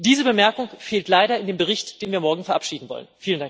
Diese Bemerkung fehlt leider in dem Bericht, den wir morgen verabschieden wollen.